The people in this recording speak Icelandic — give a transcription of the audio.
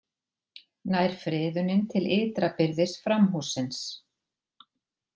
Nær friðunin til ytra byrðis framhússins